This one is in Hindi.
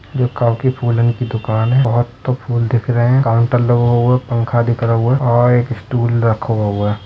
ये काऊ की फूलन की दुकान हैं। बोहोत तो फूल दिख रहे हैं। काउंटर लगो हुओ। पंखा दिख रहो है और एक स्टूल रखो है।